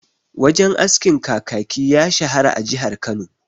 Wajen askin Kakaki ya shahara a jihar Kano..